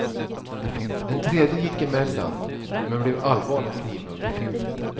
En tredje gick emellan, men blev allvarligt knivhuggen.